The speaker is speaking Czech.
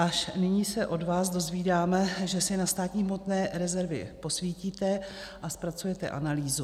Až nyní se od vás dozvídáme, že si na státní hmotné rezervy posvítíte a zpracujete analýzu.